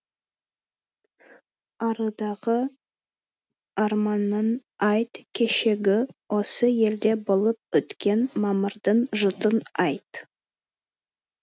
арыдағы арманын айт кешегі осы елде болып өткен мамырдың жұтын айт